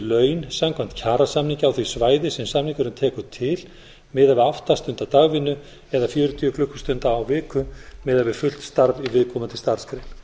laun samkvæmt kjarasamningi á því svæði sem samningurinn tekur til miðað við átta stunda dagvinnu eða fjörutíu klukkustundir á viku miðað við fullt starf í viðkomandi starfsgrein